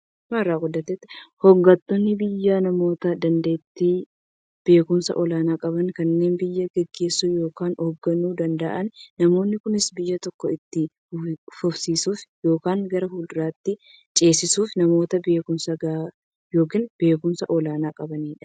Hooggantoonni biyyaa namoota daanteettiifi beekumsa olaanaa qaban, kanneen biyya gaggeessuu yookiin hoogganuu danda'aniidha. Namoonni kunis, biyya tokko itti fufsiisuuf yookiin gara fuulduraatti ceesisuuf, namoota beekumsa gahaa yookiin beekumsa olaanaa qabaniidha.